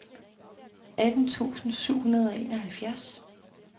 atten tusind syv hundrede og enoghalvfjerds